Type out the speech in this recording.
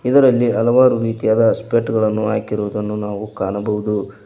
ಇದರಲ್ಲಿ ಹಲವಾರು ರೀತಿಯಾದ ಸ್ಪೆಟ್ ಗಳನ್ನು ಹಾಕಿರುವುದನ್ನು ನಾವು ಕಾಣಬಹುದು.